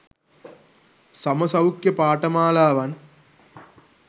සම සෞඛ්‍ය පාඨමාලාවන්